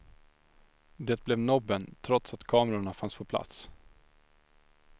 Det blev nobben, trots att kamerorna fanns på plats.